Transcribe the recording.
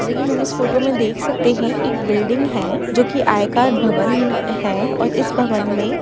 की हमें देख सकते है एक बिल्डिग है जोकि आयकर भवन है और इस भवन में --